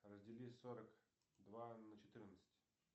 раздели сорок два на четырнадцать